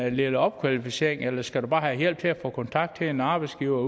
en lille opkvalificering eller skal du bare have hjælp til at få kontakt til en arbejdsgiver